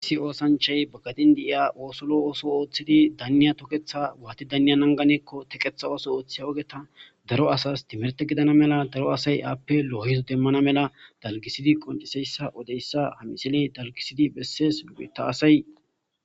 aissi oosanchay baggadin deiya oosolo ooso ooththidi danniya toketha waati danniya nanganeekko teqetha ooso ooththi ogeta daro asas timerte gidana mela daro asay aappe lo7izo demmana mela dalgisidi qonceseyssa odeyssa hamisile dalgisidi bessees lupheta asay